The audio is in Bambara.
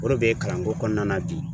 O de be kalan ko kɔnɔna na bi.